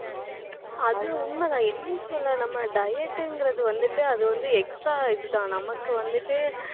அது உண்மைதான். என்ன சொல்ல நம்ம diet ங்கிறது வந்துட்டு அது வந்து extra இதுதான் நமக்கு வந்துட்டு